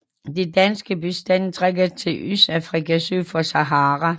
De danske bestande trækker til Østafrika syd for Sahara